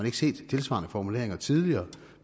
ikke set tilsvarende formuleringer tidligere